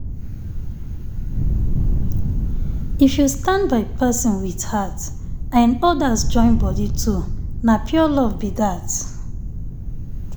if you stand by person with heart and others join body too na pure love be that.